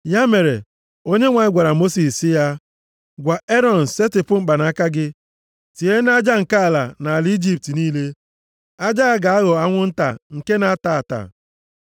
Ya mere, Onyenwe anyị gwara Mosis sị ya, “Gwa Erọn, setịpụ mkpanaka gị, tie nʼaja nke ala nʼala Ijipt niile, aja ya ga-aghọ anwụ nta nke na-ata ata.”